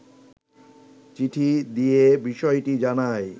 চিঠি দিয়ে বিষয়টি জানায়